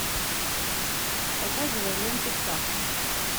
показывай ленту птаха